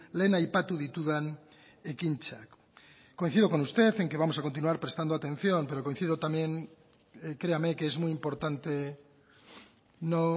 lehen aipatu ditudan ekintzak coincido con usted en que vamos a continuar prestando atención pero coincido también créame que es muy importante no